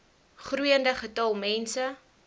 groeiende getal mense